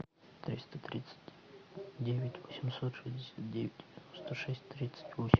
триста тридцать девять восемьсот шестьдесят девять сто шесть тридцать восемь